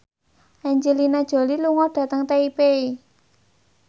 Angelina Jolie lunga dhateng Taipei